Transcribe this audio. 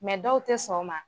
dɔw tɛ sɔn o ma.